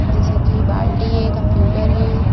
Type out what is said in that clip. जैसे की बाल्टी है कंप्यूटर है।